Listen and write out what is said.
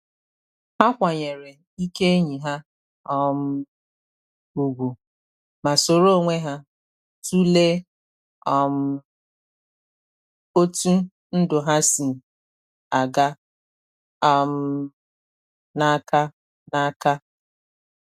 Ha kwanyere ike enyi ha um ugwu, ma soro onwe ha tụlee um otú ndụ ha si aga um n’aka n’aka.